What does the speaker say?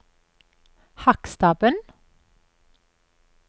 Hakkstabben